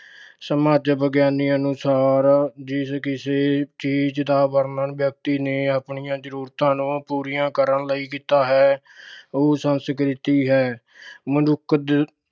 ਸਮਾਜ ਵਿਗਿਆਨੀ ਅਨੁਸਾਰ ਜਿਸ ਕਿਸੇ ਚੀਜ਼ ਦਾ ਵਰਣਨ ਵਿਅਕਤੀ ਨੇ ਆਪਣੀਆਂ ਜ਼ਰੂਰਤਾਂ ਨੂੰ ਪੂਰੀਆਂ ਕਰਨ ਲਈ ਕੀਤਾ ਹੈ, ਉਹ ਸੰਸਕ੍ਰਿਤੀ ਹੈ। ਮਨੁੱਖ ਦੋ